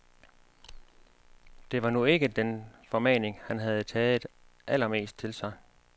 Det var nu ikke den formaning han havde taget allermest til sig.